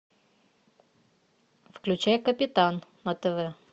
включай капитан на тв